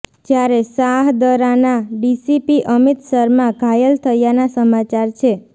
જ્યારે શાહદરાના ડીસીપી અમિત શર્મા ઘાયલ થયાના સમાચાર છે